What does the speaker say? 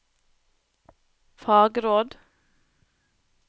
fagråd